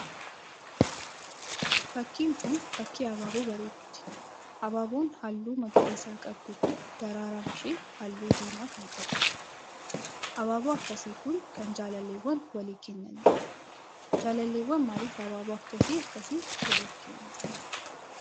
Fakkiin kun fakkii abaaboo bareedduuti. abaaboon halluu magariisa qabdu kun daraaraan ishee halluu diimaa kan qabuudha. Abaaboo akkasii kun kan jaalalleewwan walii kennaniidha. Jaalalleewwan maaliif abaaboo akkas akkasii waliif kennuu jaallatu?